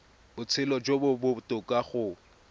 botshelo jo bo botoka go